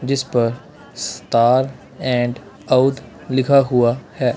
जिस पर star and Oudh लिखा हुआ है।